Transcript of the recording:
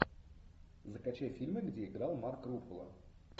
закачай фильмы где играл марк руффало